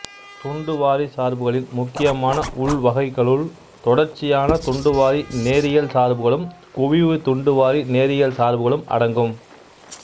துண்டுவாரிச் சார்புகளின் முக்கியமான உள்வகைக்களுள் தொடர்ச்சியான துண்டுவாரி நேரியல் சார்புகளும் குவிவு துண்டுவாரி நேரியல் சார்புகளும் அடங்கும்